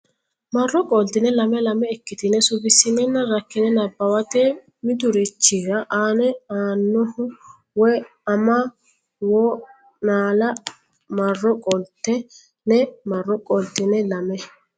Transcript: marro qoltine lame lame ikkitine suwissinenna rakkine nabbawate Mitturichira anna annaho woy ama wo naalle marro qoltine marro qoltine lame.